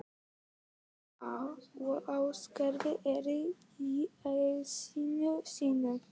Alda og Ásgerður eru í essinu sínu.